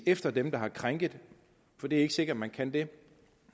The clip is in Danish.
efter dem der har krænket for det er ikke sikkert man kan det